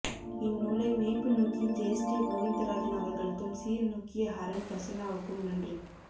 இந்நூலை மெய்ப்புநோக்கிய ஜெயஸ்ரீ கோவிந்தராஜன் அவர்களுக்கும் சீர்நோக்கிய ஹரன் பிரசன்னாவுக்கும் நன்றி